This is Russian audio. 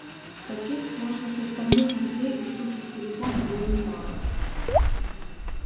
таких сложносоставных людей у суки в телефоне было немало